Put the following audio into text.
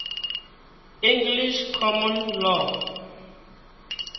english common law